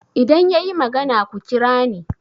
idan ya yi magana ku kira ni